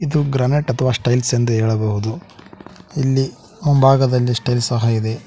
ಇದು ಗ್ರಾನೆಟ್ ಅಥವಾ ಸ್ಟೈಲ್ಸ್ ಎಂದು ಹೇಳಬಹುದು ಇಲ್ಲಿ ಮುಂಭಾಗದಲ್ಲಿ ಸ್ಟೈಲ್ ಸಹ ಇದೆ.